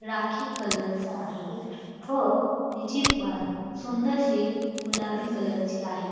Rakhi colour च आहे व त्याची मान सुंदरशी गुलाबी कलर ची आहे.